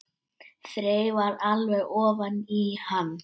Þreifar alveg ofan í hann.